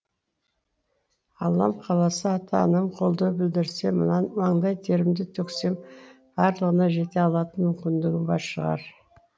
аллам қаласа ата анам қолдау білдерсе маңдай терімді төксем барлығына жете алатын мүмкіндігім бар шығар